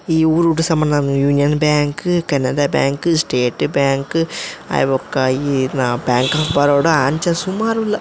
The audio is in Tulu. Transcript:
ಈ ಊರುಡು ಸಮನ union bank Canara bank state bank ಆಯ್ಬೊಕ್ಕ ಈ ಬ್ಯಾಂಕ್ ಒಫ್ ಬರೋಡ ಅಂಚ ಸುಮಾರ್ ಉಲ್ಲ.